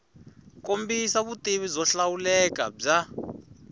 kombisa vutivi byo hlawuleka bya